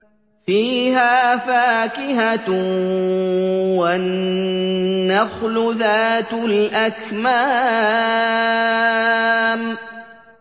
فِيهَا فَاكِهَةٌ وَالنَّخْلُ ذَاتُ الْأَكْمَامِ